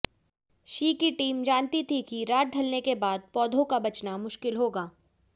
she की टीम जानती थी कि रात ढलने के बाद पौधों का बचना मुश्किल होगा